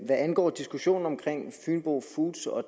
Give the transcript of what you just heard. angår diskussionen om fynbo foods og